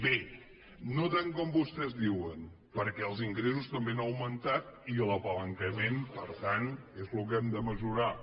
bé no tant com vostès diuen perquè els ingressos també han augmentat i el palanquejament per tant és el que hem de mesurar